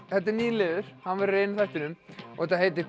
þetta er nýr liður hann verður í einum þættinum og þetta heitir